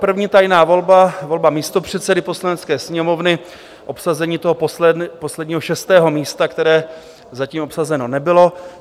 První tajná volba, volba místopředsedy Poslanecké sněmovny, obsazení toho posledního, šestého místa, které zatím obsazeno nebylo.